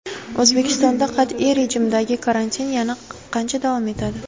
O‘zbekistonda qat’iy rejimdagi karantin yana qancha davom etadi?